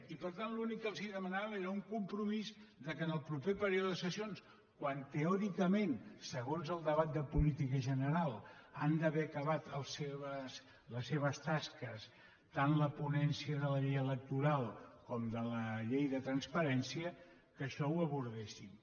i per tant l’únic que els demanàvem era un compromís que en el proper període de sessions quan teòricament segons el debat de política general han d’haver acabat les seves tasques les ponències tant de la llei electoral com la de la llei de transparència això ho abordéssim